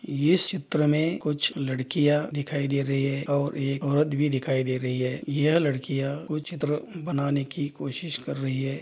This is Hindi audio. इस चित्र में कुछ लड़कियां दिखाई दे रही है और एक औरत भी दिखाई दे रही है यह लड़कियां कोई चित्र बनाने की कोशिश कर रही है।